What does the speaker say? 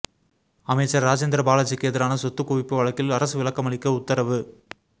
அமைச்சர் ராஜேந்திரபாலாஜிக்கு எதிரான சொத்து குவிப்பு வழக்கில் அரசு விளக்கமளிக்க உத்தரவு